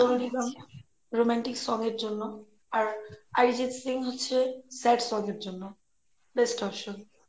Sonu Nigam romantic song এর জন্যে আর অরিজিত সিং হচ্ছে sad song এর জন্যে best option